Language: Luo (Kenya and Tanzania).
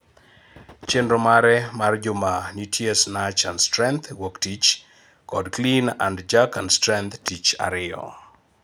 Chenro mare mar juma nitie Snatch and strength Wuok tich kod Clean and Jerk and strength tich ariyo